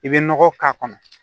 I bɛ nɔgɔ k'a kɔnɔ